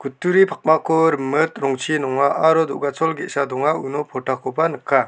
kutturi pakmako rimit rongchi nonga aro do·gachol ge·sa donga uno pordakoba nika.